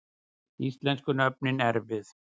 Íslensku nöfnin erfið